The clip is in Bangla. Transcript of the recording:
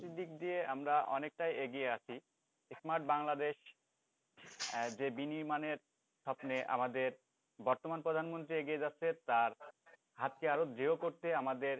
প্রযুক্তির দিক দিয়ে আমরা অনেকটাই এগিয়ে আছি smart বাংলাদেশ আহ যে বিনির্মাণের স্বপ্নে আমাদের বর্তমান প্রধানমন্ত্রী এগিয়ে যাচ্ছে তার হাতকে আরো করতে আমাদের